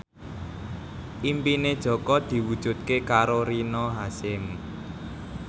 impine Jaka diwujudke karo Rina Hasyim